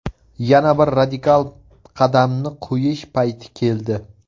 Yana bir radikal qadamni qo‘yish payti keldi.